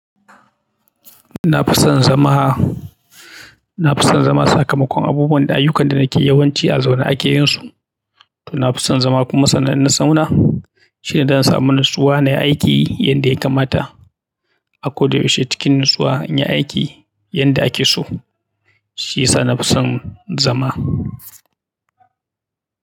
Na fi son zama, na fi son zama sakamakon abubuwan da ayyukan da nake yawanci a zaune ake yin su. To na fi son zama kuma sanan ina saune shine dan samun natsuwa na yi aiki yadda ya kamata. Akoda yaushe cikin natsuwa in yi aiki yadda ake so, shi ya sa na fi son zama.